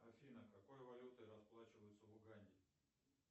афина какой валютой расплачиваются в уганде